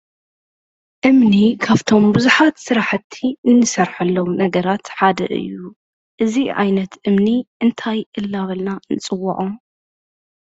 እምኒ ካብቶም ብዙሓት ስራሕቲ እንሰርሓሎም ነገራት ሓደ እዩ። እዚ ዓይነት እምኒ እንታይ እንዳበልና ንፅዎዖ ?